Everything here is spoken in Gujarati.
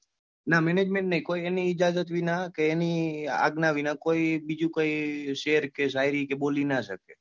નાં management નહ્હી કોઈ એની ઇજાજત વિના કે એની આજ્ઞા વિના કોઈ બીજો કાઈ શેર કે શાયરી બોલી ણા સકે.